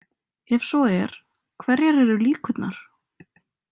Ef svo er hverjar eru líkurnar?